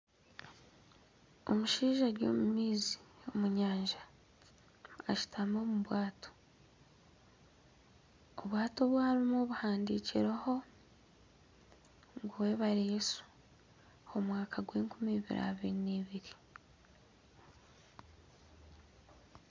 Omushaija ari omu maizi omu nyanja ashutami omu bwato, obwato obu arimu buhandikireho ngu webare Yesu, omwaka gw'enkumi abiri n'ebiri